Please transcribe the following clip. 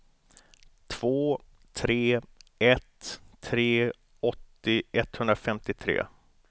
två tre ett tre åttio etthundrafemtiotre